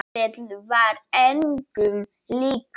Ketill var engum líkur.